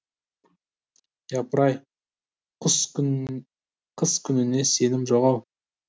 япыр ай қыс күніне сенім жоқ ау